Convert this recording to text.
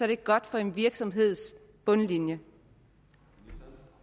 det godt for en virksomheds bundlinje